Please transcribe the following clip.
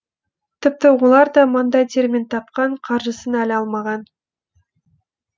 тіпті олар да маңдай терімен тапқан қаржысын әлі алмаған